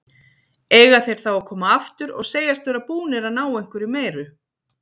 Eiga þeir þá að koma aftur og segjast vera búnir að ná einhverju meiru?